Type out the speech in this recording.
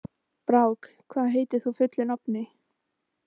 Brák, hvað heitir þú fullu nafni?